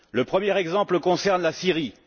Le premier exemple concerne la Syrie.